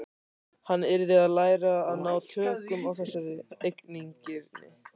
Hann yrði að læra að ná tökum á þessari eigingirni.